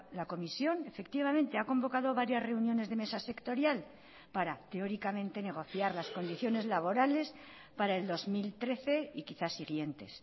la comisión efectivamente ha convocado varias reuniones de mesa sectorial para teóricamente negociar las condiciones laborales para el dos mil trece y quizás siguientes